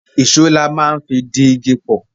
Ìṣó la máa ń fi di igi pọ̀